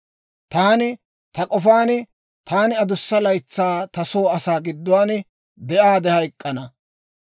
«Taani ta k'ofaan, ‹Taani adussa laytsaa ta soo asaa gidduwaan de'aade hayk'k'ana.